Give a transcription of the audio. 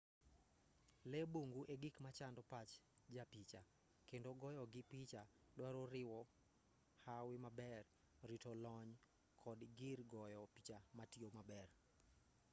lee bungu egik machando pach japicha kendo goyogii picha dwaro riwo hawi maber rito lony kod gir goyo picha matiyo maber